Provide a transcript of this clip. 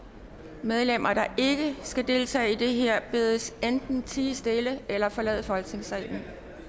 medlemmer der ikke skal deltage i det her bedes enten tie stille eller forlade folketingssalen